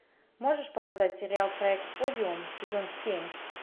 можешь показать сериал проект подиум сезон семь